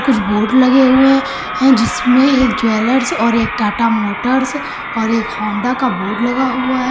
कुछ बोर्ड लगे हुए हैं जिसमें एक ज्वेलर्स और एक टाटा मोटर्स और एक होंडा का बोर्ड लगा हुआ है।